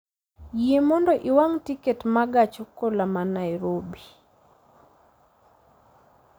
Yie mondo iwang'na tiket ma gach okoloma dhi Nairobi